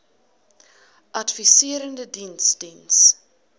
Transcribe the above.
adviserende diens diens